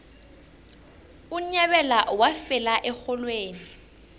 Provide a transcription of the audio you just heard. unyabela wafela erholweni